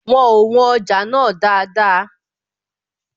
Wọn ò wọn ọjà náà dáadáa